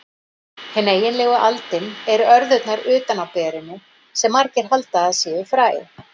Hin eiginlegu aldin eru örðurnar utan á berinu, sem margir halda að séu fræ.